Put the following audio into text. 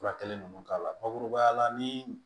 Furakɛli ninnu k'a la bakurubaya la ni